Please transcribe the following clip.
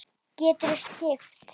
Geturðu skipt?